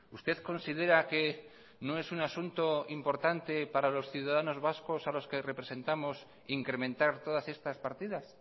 usted considera que no es un asunto importante para los ciudadanos vascos a los que representamos incrementar todas estas partidas